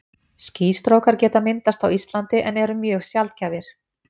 Skýstrókar geta myndast á Íslandi en eru mjög sjaldgæfir.